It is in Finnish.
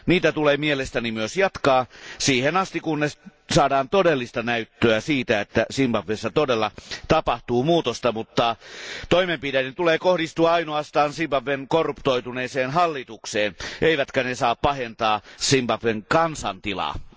Niitä tulee mielestäni myös jatkaa siihen asti kunnes saadaan todellista näyttöä siitä, että Zimbabwessa todella tapahtuu muutosta, mutta toimenpiteiden tulee kohdistua ainoastaan Zimbabwen korruptoituneeseen hallitukseen eivätkä ne saa pahentaa Zimbabwen kansan tilannetta.